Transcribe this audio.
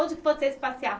Onde é que vocês passeavam?